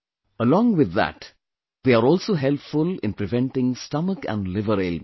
Along with that, they are also helpful in preventing stomach and liver ailments